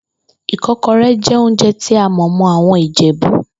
Ìkó̩ko̩ré̩ jé̩ oúnje̩ tí a mò̩ mó̩ àwo̩n Ìjè̩bú